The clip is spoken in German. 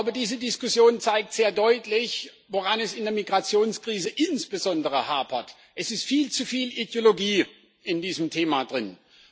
Diese Diskussion zeigt sehr deutlich, woran es in der Migrationskrise insbesondere hapert Es ist viel zu viel Ideologie in diesem Thema drinnen.